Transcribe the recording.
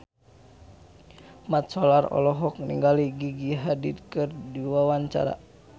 Mat Solar olohok ningali Gigi Hadid keur diwawancara